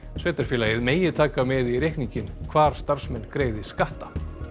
sveitarfélagið megi taka með í reikninginn hvar starfsmenn greiði skatta